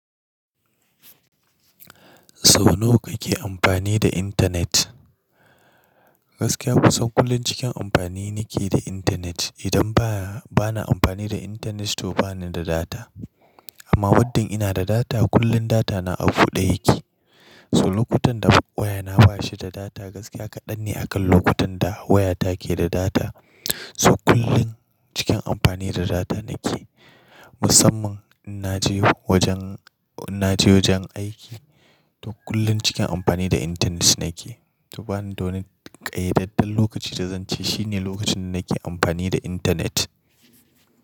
Sau nawa kake amfani da internet? Gaskiya kusan kullum cikin amfani nake da internet. Idan ba bana amfani da internet toh bani da data. Amma muddin ina da data kullum data na a buɗe yake. To lokutan da waya na bashi da data gaskiya kaɗan ne akan lokutan da waya take da data. So kullum cikin amfani da data nake. Musamman in naje wajen, naje wajen aiki, toh kullum cikin amfani da internet nake. Toh bani donin ƙayyadadden lokaci da zan ce shine lokacin nake amfani da internet.